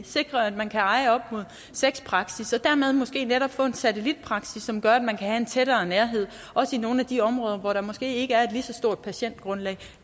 sikrer at man kan eje op imod seks praksis og dermed måske netop få en satellitpraksis som gør at man kan have en større nærhed også i nogle af de områder hvor der måske ikke er et lige så stort patientgrundlag